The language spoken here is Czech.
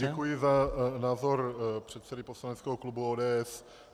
Děkuji za názor předsedy poslaneckého klubu ODS.